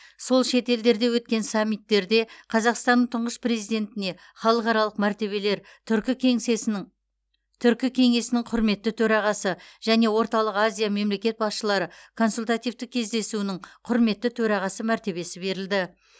сол шетелдерде өткен саммиттерде қазақстанның тұңғыш президентіне халықаралық мәртебелер түркі кеңсесінің түркі кеңесінің құрметті төрағасы және орталық азия мемлекет басшылары консультативтік кездесуінің құрметті төрағасы мәртебесі берілді